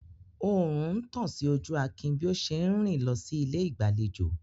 Oòrùn ń tàn sí ojú Akin bí ó ṣe ń rìn lọ sí ilé ìgbàlejò.